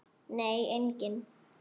Nei, enginn